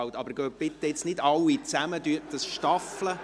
Bitte gehen Sie jetzt nicht alle miteinander, sondern gestaffelt!